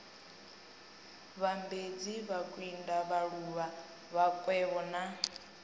vhambedzi makwinda vhaluvhu vhakwevho na